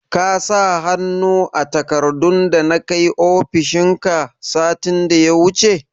Ka sa hannu a takardun dana kai ofishin ka, satin da ya wuce?